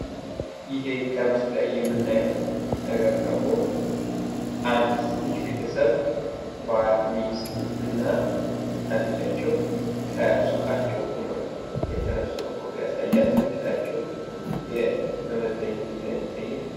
ይህ በምስሉ ላይ የምናየው ነገር ደግሞ አንድ ትንሽ ቤተሰብ ፤ባል፣ ሚስትና ልጃቸው ከሱቃቸው ሁነው የተነሱት መሆኑን ያሳያል። ከፊታቸው እንደምናየው መመዘኛ ሚዛን ይታያል።